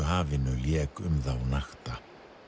hafinu lék um þá nakta